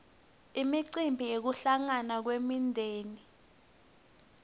imicimbi yekuhlangana kwemindzeni